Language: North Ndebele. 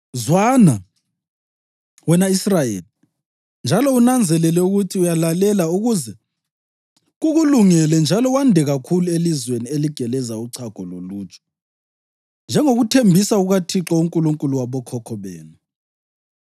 Zwana, wena Israyeli, njalo unanzelele ukuthi uyalalela ukuze kukulungele njalo wande kakhulu elizweni eligeleza uchago loluju, njengokuthembisa kukaThixo, uNkulunkulu wabokhokho benu.